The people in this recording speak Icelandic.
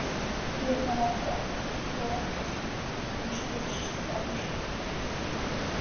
Klukkan var orðin tíu og ekkert hafði enn spurst til Emils.